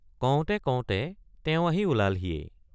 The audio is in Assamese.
কওঁতে কওঁতে তেওঁ আহি ওলালহিয়েই।